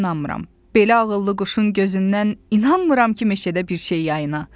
Belə ağıllı quşun gözündən inanmıram ki, meşədə bir şey yayına.